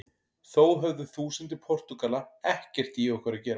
Þó höfðu þúsundir Portúgala ekkert í okkur að gera.